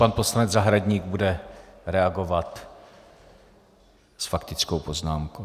Pan poslanec Zahradník bude reagovat s faktickou poznámkou.